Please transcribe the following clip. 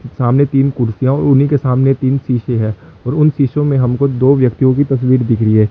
सामने तीन कुर्सियाओ और उन्हीं के सामने तीन शीशे हैं और उन शिशो में हमको दो व्यक्तियों की तस्वीर दिख री है।